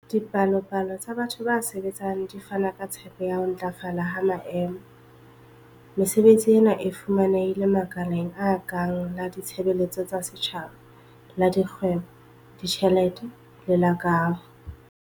Dipalopalo tsa batho ba sebetsang di fana ka tshepo ya ho ntlafala ha maemo. Mesebetsi ena e fumanehile makaleng a kang la ditshebeletso tsa setjhaba, la dikgwebo, ditjhelete le la kaho.